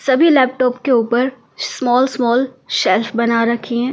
सभी लैपटॉप के ऊपर स्मॉल स्मॉल शेल्फ बना रखी हैं ।